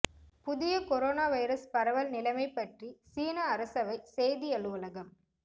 புதிய corona virus பரவல் நிலைமை பற்றி சீன அரசவை செய்தி அலுவலகம்